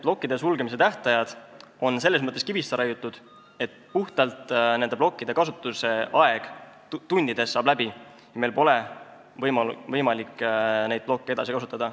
Plokkide sulgemise tähtajad on selles mõttes kivisse raiutud, et nende plokkide kasutusaeg tundides saab läbi, meil pole võimalik neid plokke edasi kasutada.